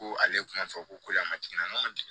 Ko ale tun b'a fɔ ko a ma jiginna ma jigin